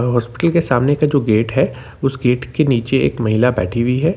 Hospital के सामने का जो गाते हैं उसे गेट के नीचे एक महिला बैठी हुई है।